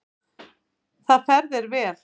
Það fer þér vel.